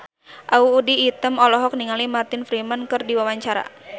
Audy Item olohok ningali Martin Freeman keur diwawancara